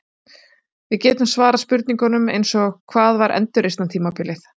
Við getum svarað spurningum eins og Hvað var endurreisnartímabilið?